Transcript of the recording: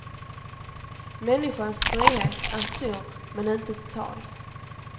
Människans frihet är stor men inte total.